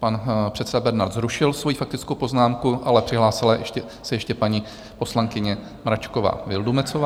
Pan předseda Bernard zrušil svoji faktickou poznámku, ale přihlásila se ještě paní poslankyně Mračková Vildumetzová.